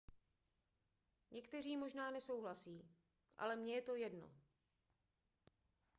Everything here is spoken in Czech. někteří možná nesouhlasí ale mně je to jedno